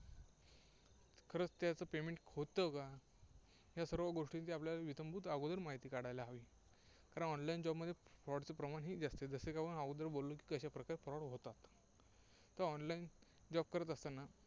खरचं त्यांचं payment होत का? या सर्व गोष्टींची आपल्याला इत्यंभूत अगोदर माहिती काढायला हवी. कारण online job मध्ये fraud चं प्रमाण जास्त. जसे की आपण अगोदर बोललो की कशा प्रकारे fraud होतात. तर online job करत असताना